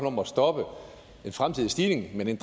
om at stoppe en fremtidig stigning